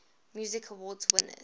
music awards winners